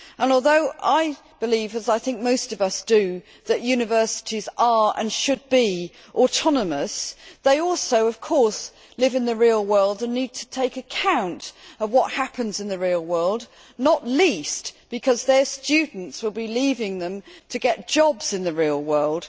Although I believe as I think most of us do that universities are, and should be, autonomous, of course, they also live in the real world and need to take account of what happens in the real world, not least because their students will be leaving them to get jobs in the real world.